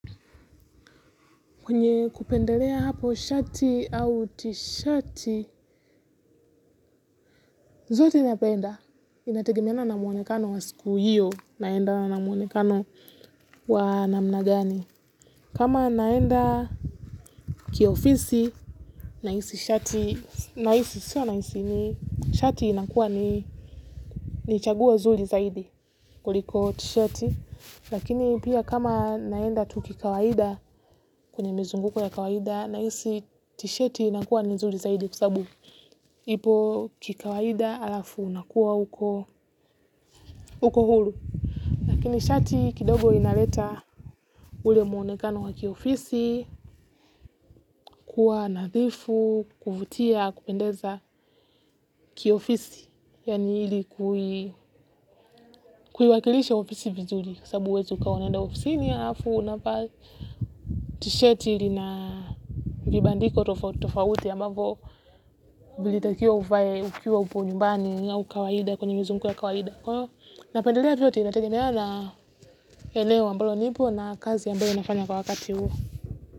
Kwenye kupendelea hapo shati au t-shati, zote napenda. Inategemeana na muonekano wa siku hiyo, naenda na muonekano wa namna gani. Kama naenda kiofisi, naisi shati, nahisi sio naisi ni, shati inakuwa ni chaguo zuri zaidi, kuliko t-sheti. Lakini pia kama naenda tu kikawaida, kwenye mizunguko ya kawaida, nahisi t-sheti inakuwa ni nzuri zaidi kwa sababu. Ipo kikawaida alafu unakuwa uko huru. Lakini shati kidogo inaleta ule mwonekano wa kiofisi, kuwa nadhifu, kuvutia, kupendeza kiofisi. Yani hili kuiwakilisha ofisi vizuri. Sabu huwezi ukawa unaenda ofisini alafu unavaa. T-sheti ilina vibandiko tofauti ambavo. Ilitakiwa uvae ukiwa upo nyumbani au kawaida kwenye mizunguko ya kawaida. Napendelea vyote inategemeana eneo ambalo nipo na kazi ambayo inafanya kwa wakati huu.